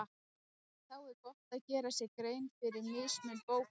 Þá er gott að gera sér grein fyrir mismun bókanna.